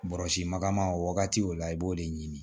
Bɔrɔsi magama o wagati o la i b'o de ɲini